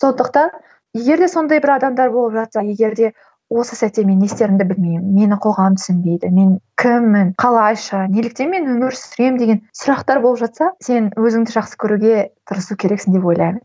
сондықтан егерде сондай бір адамдар болып жатса егерде осы сәтте мен не істерімді білмеймін мені қоғам түсінбейді мен кіммін қалайша неліктен мен өмір сүремін деген сұрақтар болып жатса сен өзіңді жақсы көруге тырысу керексің деп ойлаймын